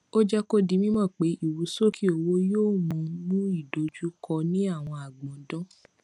ó jé kó di mímò pé ìrusókè owó yóò mú mú ìdojúkọ ní àwọn agbọndan